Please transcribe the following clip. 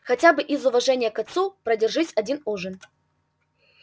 хотя бы из уважения к отцу продержись один ужин